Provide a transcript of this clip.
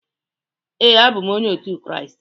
Ee, abụ m Onye otu Kraịst